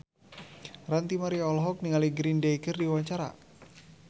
Ranty Maria olohok ningali Green Day keur diwawancara